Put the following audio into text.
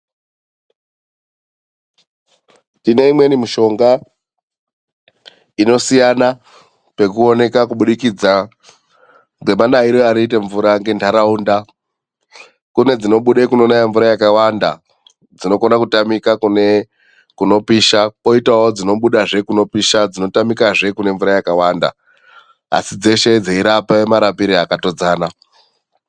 Tine imweni mishonga inosiyana pekuoneka kubudikidza ngemanaire anoite mvura ngentaraunda. Kune dzinobuda kunonaya mvura yakawanda dzinokona kutamika kunopisha. Kwoitawo dzinobudazve kunopusha dzinotamikazve kune mvura yakawanda asi dzeshe dzeirape marapire akatodzana.